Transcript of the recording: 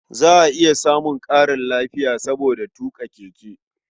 Za a iya samun ƙarin lafiya saboda tuƙa keke.